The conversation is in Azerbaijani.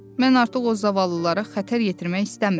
Mən artıq o zavallılara xətər yetirmək istəmirəm.